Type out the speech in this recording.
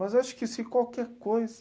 Mas acho que se qualquer coisa...